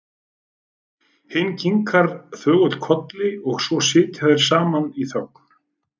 Hinn kinkar þögull kolli og svo sitja þeir saman í þögn.